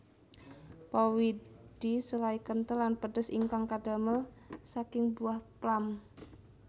Powidl selai kentel lan pedes ingkang kadamel saking buah plum